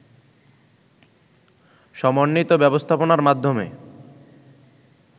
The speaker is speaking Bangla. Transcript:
সমন্বিত ব্যবস্থাপনার মাধ্যমে